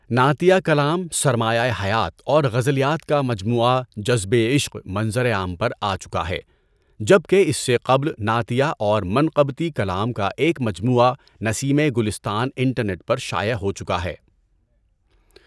نعتیہ کلام سرمایۂ حیات اور غزلیات کا مجموعہ جذبِ عشق منظرِ عام پر آچکا ہے جبکہ اس سے قبل نعتیہ اور منقبتی کلام کا ایک مجموعہ نسیمِ گلستان انٹرنیٹ پر شائع ہو چکا ہے۔